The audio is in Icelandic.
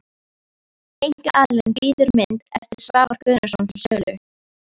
Einkaaðili býður mynd eftir Svavar Guðnason til sölu.